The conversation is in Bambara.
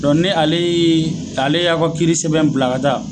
ni ale ye, ale y'aw ka kiiri sɛbɛn bila ka taa